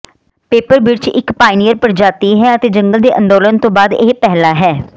paper ਬਿਰਛ ਇੱਕ pioneer ਪ੍ਰਜਾਤੀ ਹੈ ਅਤੇ ਜੰਗਲ ਦੇ ਅੰਦੋਲਨ ਤੋਂ ਬਾਅਦ ਇਹ ਪਹਿਲਾ ਹੈ